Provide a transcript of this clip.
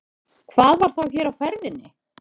Hvað var þá hér á ferðinni?